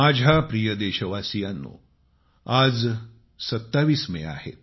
माझ्या प्रिय देशवासीयांनो आज 27 मे आहे